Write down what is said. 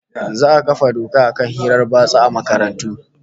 Za'a kafa doka akan hirar batsa a makarantu